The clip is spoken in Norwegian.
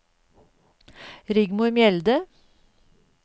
Rigmor Mjelde